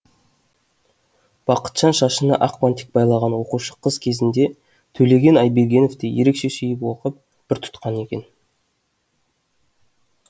бақытжан шашына ақ бантик байлаған оқушы қыз кезінде төлеген айбергеновты ерекше сүйіп оқып пір тұтқан екен